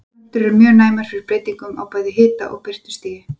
Plöntur eru mjög næmar fyrir breytingum á bæði hita- og birtustigi.